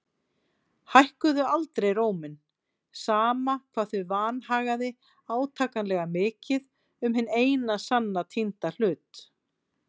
Hækkuðu aldrei róminn, sama hvað þau vanhagaði átakanlega mikið um hinn eina sanna týnda hlut.